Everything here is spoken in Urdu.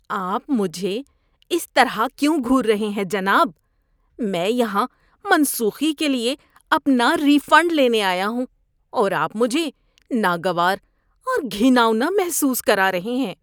آپ مجھے اس طرح کیوں گھور رہے ہیں جناب؟ میں یہاں منسوخی کے لیے اپنا ری فنڈ لینے آیا ہوں اور آپ مجھے ناگوار اور گھناؤنا محسوس کرا رہے ہیں۔